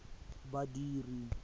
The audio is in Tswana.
badiri